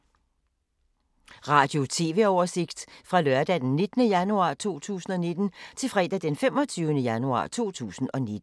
Radio/TV oversigt fra lørdag d. 19. januar 2019 til fredag d. 25. januar 2019